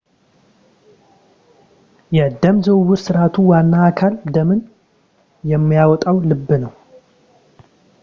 የደም ዝውውር ሥርዓቱ ዋና አካል ደምን የሚያወጣው ልብ ነው